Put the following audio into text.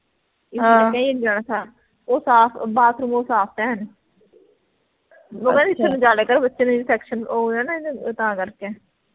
ਉਹ ਸਾਫ bathroom ਉਹ ਸਾਫ ਐ ਐਨ ਉਹ ਕਹਿੰਦੀ ਸਮਝਾ ਲੈ ਕਰ ਬੱਚੇ ਨੂੰ infection ਉਹ ਹੋ ਜਾਣਾ ਨਾ ਇਹਨੂੰ ਉਹ ਤਾਂ ਕਰਕੇ